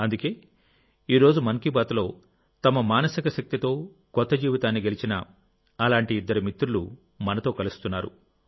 అందుకే ఈ రోజు మన్ కీ బాత్ లో తమ మానసిక శక్తితో కొత్త జీవితాన్ని గెలిచిన అలాంటి ఇద్దరు మిత్రులు మనతో కలుస్తున్నారు